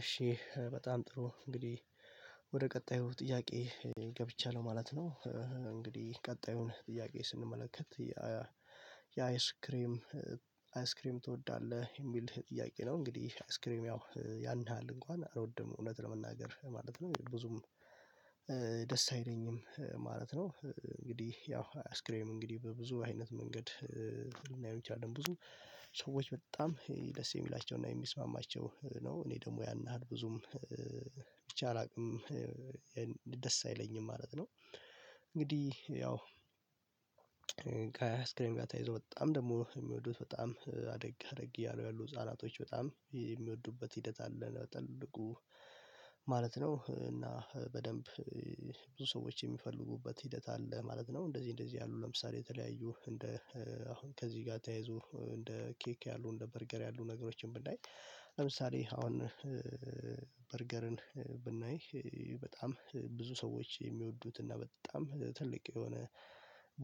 እሺ በጣም ጥሩ እንግዲህ ወደ ቀጣዩ ጥያቄ ገብቻለሁ ማለት ነው። እንግዲህ ቀጣዩን ጥያቄ ስንመለከት የአይስክሬም አይስክሬም ትወዳለህ የሚል ጥያቄ ነው? እንግዲህ አይስክሬም ያው ያን ያህል እንኳን አልወድም እውነት ለመናገር ማለት ነው ብዙም ደስ አይለኝም ማለት ነው። እንግዲህ ያው አያስክሬም እንግዲህ በብዙ አይነት መንገድ ልናየው እንችላለን ብዙ ሰዎች በጣም ደስ የሚላቸውና የሚስማማቸው ነው እኔ ደግሞ ያን ያህል ብዙም ብቻ አላቅም ደስ አይለኝም ማለት ነው። እንግዲህ ያው ከስክሪን ጋር ተያይዞ በጣም ደግሞ የሚወዱት በጣም አደግ አደግ እያሉ ያሉ ህፃናቶች በጣም የሚወዱበት ሂደት አለ ተልኩ ማለት ነው እና በደንብ ብዙ ሰዎች የሚፈልጉበት ሂደት አለ ማለት ነው። እንደዚህ እንደዚህ ያሉ ለምሳሌ የተለያዩ እንደ አሁን ከዚህ ጋር ተያይዞ እንደ ኬክ ያሉ እንደ በርገር ያሉ ነገሮችን ብናይ ለምሳሌ አሁን በርገርን ብናይ በጣም ብዙ ሰዎች የሚወዱት እና በጣም ትልቅ የሆነ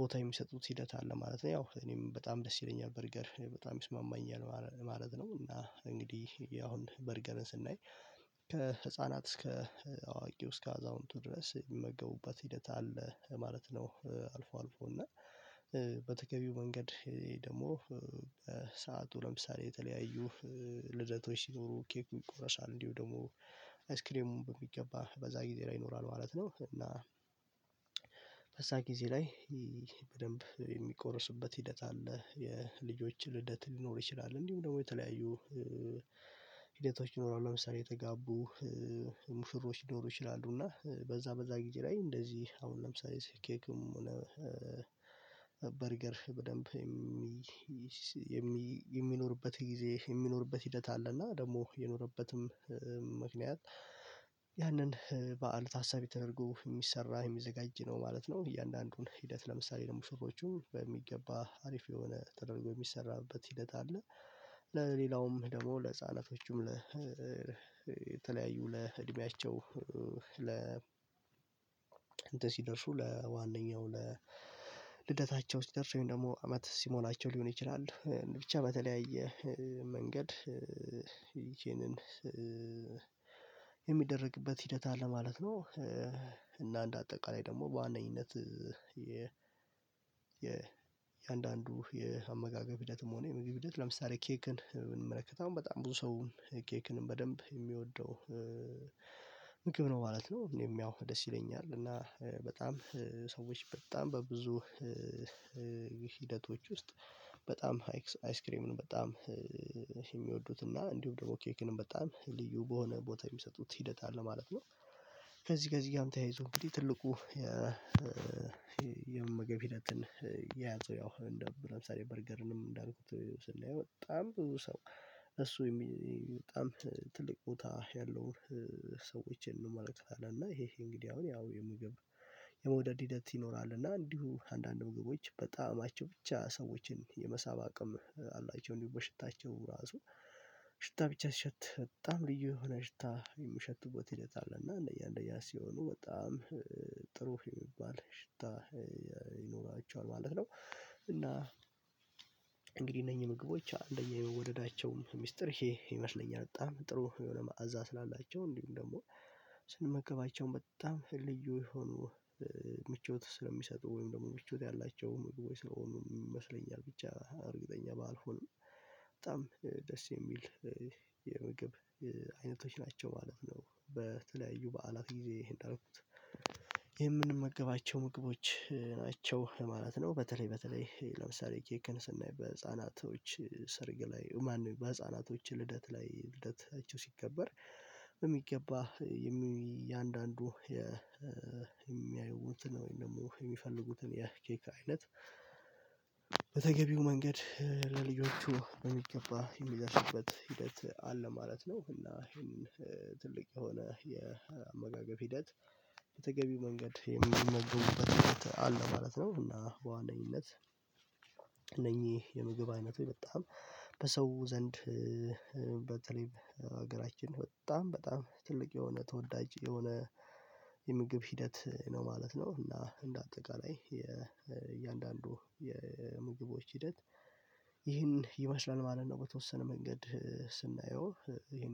ቦታ የሚሰጡት ሂደት አለ ማለት ነው። ያው እኔም በጣም ደስ ይለኛል በርገር በጣም ይስማማኛል ማለት ነው። እና እንግዲህ አሁን በርገርን ስናይ ከህፃናት እስከ አዋቂው እስከ አዛውንቱ ድረስ የሚመገቡበት ሂደት አለ ማለት ነው አልፎ አልፎ እና በተገቢው መንገድ ደግሞ በሰአቱ ለምሳሌ የተለያዩ ልደቶች ሲኖሩ ኬኩ ይቆረሳል እንዲሁ ደግሞ አይስክሬሙን በሚገባ በዛ ጊዜ ላይ ይኖራል ማለት ነው። እና በዛ ጊዜ ላይ በደንብ የሚቆረስበት ሂደት አለ የልጆች ልደት ሊኖር ይችላል እንዲሁም ደግሞ የተለያዩ ሂደቶች ይኖራሉ ለምሳሌ የተጋቡ ሙሽሮች ሊኖሩ ይችላሉ እና በዛ በዛ ጊዜ ላይ እንደዚህ አሁን ለምሳሌ ኬክም ሆነ በርገር በደንብ የሚኖርበት ጊዜ የሚኖርበት ሂደት አለ እና ደግሞ የኖረበትም ምክንያት ያንን በዓል ታሳቢ ተደርጎ የሚሰራ የሚዘጋጅ ነው ማለት ነው። እያንዳንዱን ሂደት ለምሳሌ ለሙሽሮቹ በሚገባ አሪፍ የሆነ ተደርጎ የሚሰራበት ሂደት አለ ለሌላውም ደግሞ ለህፃናቶቹም ለተለያዩ ለእድሜያቸው ለ እንትን ሲደርሱ ለዋነኛው ለልደታቸው ሲደርሱ ወይም ደግሞ አመት ሲሞላቸው ሊሆን ይችላል ብቻ በተለያየ መንገድ ይቺንን የሚደረግበት ሂደት አለ ማለት ነው። እና እንደ አጠቃላይ ደግሞ በዋነኝነት የ የእያንዳንዱ የአመጋገብ ሂደትም ሆነ የመግብ ሂደት ለምሳሌ ኬክን ብንመለከት አሁን በጣም ብዙ ሰው ኬክን በደንብ የሚወደው ምግብ ነው ማለት ነው። እኔም ያው ደስ ይለኛል እና በጣም ሰዎች በጣም በብዙ ሂደቶች ውስጥ በጣም አይስክሬምን በጣም የሚወዱት እና እንዲሁም ደግሞ ኬክንም በጣም ልዩ በሆነ ቦታ የሚሰጡት ሂደት አለ ማለት ነው። ከዚህ ከዚህ ጋም ተያይዞ እንግዲህ ትልቁ የመመገብ ሂደትን የያዘው ያው ለምሳሌ በርገርንም እንዳሉት ስናየው በጣም ብዙ ሰው እሱ በጣም ትልቅ ቦታ ያለው ሰዎችን እንመለከታለን እና ይሄ ይሄ እንግዲህ አሁን የምግብ የመውደድ ሂደት ይኖራል እና እንዲሁም አንዳንድ ምግቦች በጣእማቸው ብቻ ሰዎችን የመሳብ አቅም አላቸው እንዲሁ በሽታቸው ራሱ ሽታ ብቻ ሲሸት በጣም ልዩ የሆነ ሽታ የምሸትበት ሂደት አለ እና እንደያ እንደያ ሲሆኑ በጣም ጥሩ የሚባል ሽታ ይኖራቸዋል ማለት ነው። እና እንግዲህ እነኚህ ምግቦች እንደየ መወደዳቸው ሚስጥር ይሄ ይመስለኛል በጣም ጥሩ የሆነ ማዕዛ ስላላቸው እንዲሁም ደግሞ ስንመገባቸው በጣም ልዩ የሆኑ ምቾት ስለሚሰጡ ወይም ደግሞ ምቾት ያላቸው ምግቦች ስለሆኑ ይመስለኛል ብቻ እርግጠኛ ባልሆንም በጣም ደስ የሚል የምግብ አይነቶች ናቸው ማለት ነው። በተለያዩ በዓላት ጊዜ እንዳልኩት ይሄን የምንመገባቸው ምግቦች ናቸው ማለት ነው። በተለይ በተለይ ለምሳሌ ኬክን ስናይ በህፃናቶች ስርግ ላይ ማንም በህፃናቶች ልደት ላይ ልደታቸው ሲከበር የሚገባ የእያንዳንዱ የሚያዩትን ወይም ደግሞ የሚፈልጉትን የኬክ አይነት በተገቢው መንገድ ለልጆቹ በሚገባ የሚያስችልበት ሂደት አለ ማለት ነው። እና ይሄን ትልቅ የሆነ የአመጋገብ ሂደት በተገቢው መንገድ የሚመግቡበት ሂደት አለ ማለት ነው። እና በዋነኝነት እነኚህ የምግብ አይነቶይ በጣም በሰው ዘንድ በተለይ ሀገራችን በጣም በጣም ትልቅ የሆነ ተወዳጅ የሆነ የምግብ ሂደት ነው ማለት ነው። እና እንደ አጠቃላይ የእያንዳንዱ የምግቦች ሂደት ይህን ይመስላል ማለት ነው በተወሰነ መንገድ ስናየው